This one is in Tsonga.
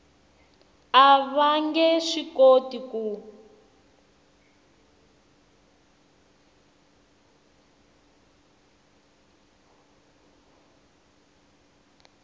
va nge swi koti ku